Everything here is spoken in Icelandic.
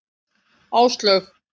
Áslaug